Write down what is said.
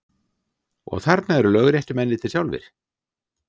Og þarna eru lögréttumennirnir sjálfir!